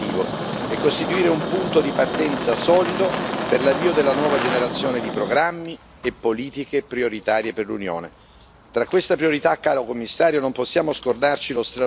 Il Parlamento chiede un salto di qualità per raggiungere questo obiettivo e costituire un punto di partenza solido per l'avvio della nuova generazione di programmi e politiche prioritarie per l'Unione.